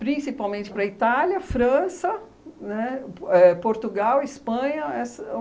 principalmente para a Itália, França, né, Po éh Portugal, Espanha, essa